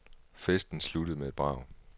Festen sluttede med et brag.